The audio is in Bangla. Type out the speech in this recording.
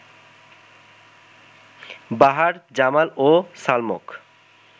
বাহার, জামাল ও সালমক